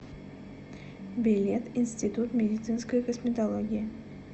билет институт медицинской косметологии